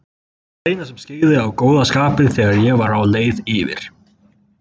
Það eina sem skyggði á góða skapið þegar ég var á leið yfir